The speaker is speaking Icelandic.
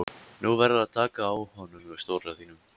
Nú verðurðu að taka á honum stóra þínum!